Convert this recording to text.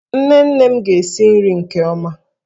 Nne nne m ga-esi nri nke ọma.